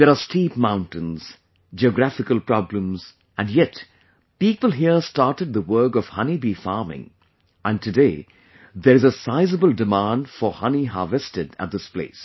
There are steep mountains, geographical problems, and yet, people here started the work of honey bee farming, and today, there is a sizeable demand for honey harvested at this place